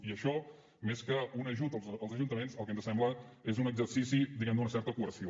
i això més que un ajut als ajuntaments el que ens sembla és un exercici diguem ne d’una certa coerció